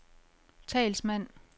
talsmand